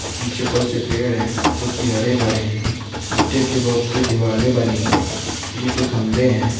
पीछे बहुत से पेड़ है जो की हरे भरे है ईंटे की बहुत सी दीवाल बनी है बिजली के खम्बे है।